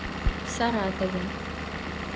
саратове